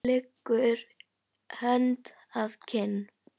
Leggur hönd að kinn.